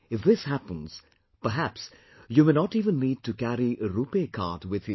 If this happens, perhaps you may not even need to carry a RuPay card with you